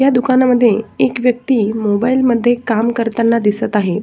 या दुकानामध्ये एक व्यक्ति मोबाइल मध्ये काम करताना दिसत आहे.